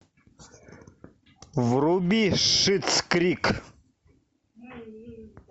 вруби шитс крик